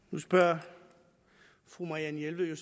nu spørger fru marianne jelved jo